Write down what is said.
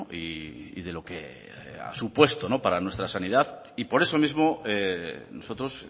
y de lo que ha supuesto para nuestra sanidad y por eso mismo nosotros